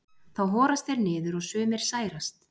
þá horast þeir niður og sumir særast